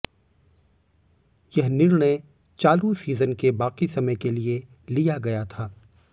यह निर्णय चालू सीजन के बाकी समय के लिए लिया गया था